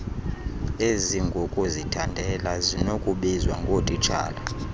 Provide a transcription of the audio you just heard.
ezingokuzithandela zinokubizwa ngootitshala